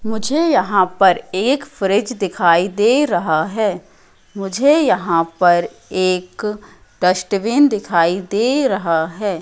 मुझे यहां पर एक फ्रिज दिखाई दे रहा है मुझे यहां पर एक डस्टबिन दिखाई दे रहा है।